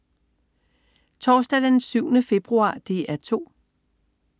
Torsdag den 7. februar - DR 2: